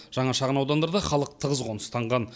жаңа шағын аудандарда халық тығыз қоныстанған